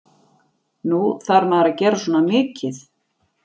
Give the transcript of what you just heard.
Nú, þarf maður að gera svona mikið?